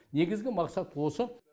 негізгі мақсат осы